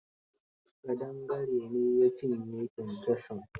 Ƙadangare ne ya cinye kyankyasun.